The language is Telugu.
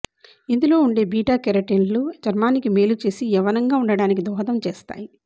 ఇందులో ఉండే బీటాకెరొటిన్లు చర్మానికి మేలు చేసి యౌవనంగా ఉండటానికి దోహదం చేస్తాయి